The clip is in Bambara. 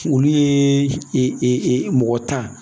Olu ye mɔgɔ ta